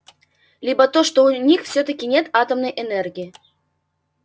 либо то что у них всё-таки нет атомной энергии